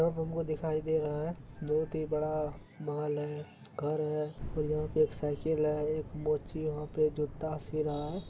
सब हम को दिखाई दे रहा है बहुत ही बड़ा महल है घर है और यहाँ पे एक साइकिल है एक मोची वहां पे जूता सी रहा है।